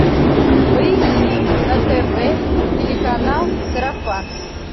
поищи на тв телеканал сарафан